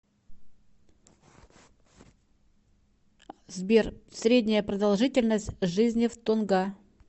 сбер средняя продолжительность жизни в тонга